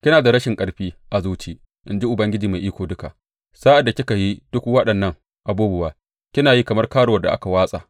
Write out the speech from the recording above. Kina da rashin ƙarfi a zuci, in ji Ubangiji Mai Iko Duka, sa’ad da kika yi duk waɗannan abubuwa, kina yi kamar karuwar da aka watsa!